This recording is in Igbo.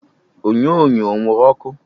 Onyonyo ọ wuru ọkụ?